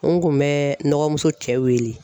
N kun bɛ n dɔgɔmuso cɛ wele